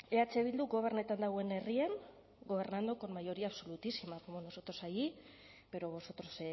eh bilduk gobernatzen duen herrian gobernando con mayoría absolutísima